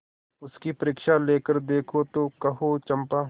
उसकी परीक्षा लेकर देखो तो कहो चंपा